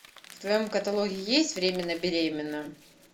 в твоем каталоге есть временно беременна